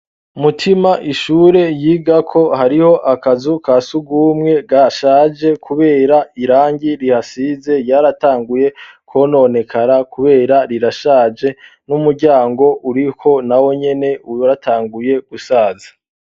Umutima ishure yiga ko hariho akazu ka siugumwe ga shaje, kubera irangi rihasize yaratanguye kwononekara, kubera rirashaje n'umuryango uriko na wo nyene uwaratanguye gusaza.